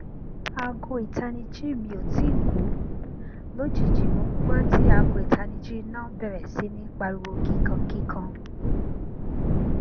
aago itaniji mi o tii ku lojiji mo n gbọ ti aago itaniji ina bẹrẹ si ni pariwo kikan kikan